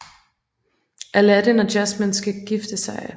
Aladdin og Jasmine skal gifte sig